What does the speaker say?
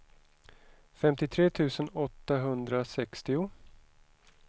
femtiotre tusen åttahundrasextio